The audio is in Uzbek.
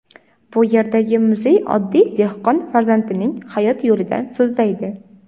Bu yerdagi muzey oddiy dehqon farzandining hayot yo‘lidan so‘zlaydi.